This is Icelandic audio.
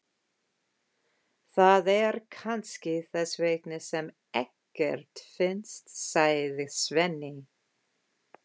Það er kannski þess vegna sem ekkert finnst, sagði Svenni.